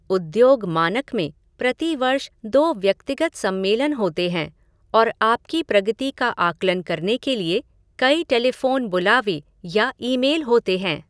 उद्योग मानक में प्रति वर्ष दो व्यक्तिगत सम्मेलन होते हैं और आपकी प्रगति का आकलन करने के लिए कई टेलीफ़ोन बुलावे या ईमेल होते हैं।